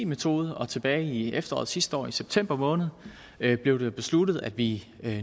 metode tilbage i efteråret sidste år i september måned blev det besluttet at vi